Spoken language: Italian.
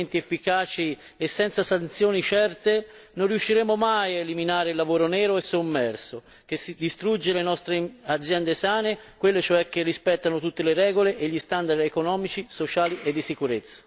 Senza controlli e provvedimenti efficaci e senza sanzioni certe, non riusciremo mai a eliminare il lavoro nero e sommerso, che distrugge le nostre aziende sane, quelle cioè che rispettano tutte le regole e gli standard economici, sociali e di sicurezza.